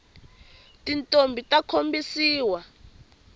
tintombhi ta khombisiwa